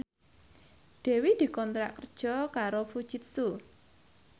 Dewi dikontrak kerja karo Fujitsu